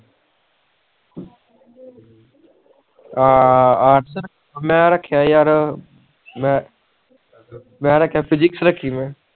ਹਾਂ ਆਰਟਸ ਮੈਂ ਰਖਿਆ ਯਾਰ ਮੈਂ ਰਖਿਆ ਪਿਸਿਕਸ ਰਖਿ ਮੈਨ